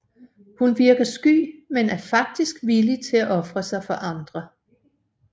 Hun virker sky men er faktisk villig til at ofre sig for andre